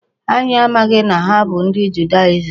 Anyị amaghị na ha bụ ndị Judaism.